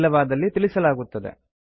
ಇಲ್ಲವಾದಲ್ಲಿ ತಿಳಿಸಲಾಗುತ್ತದೆ